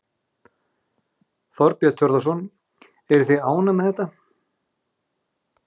Þorbjörn Þórðarson: Eruð þið ánægð með þetta?